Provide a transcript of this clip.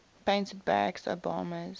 painted barack obama's